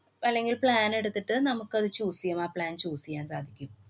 അല്ലെങ്കില്‍ plan എടുത്തിട്ടു നമുക്കത് choose ചെയ്യാം. ആ plan choose ചെയ്യാന്‍ സാധിക്കും.